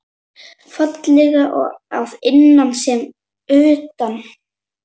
Fallega að innan sem utan.